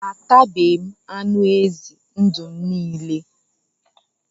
Atabeghi m anụ ezi ndụ m niile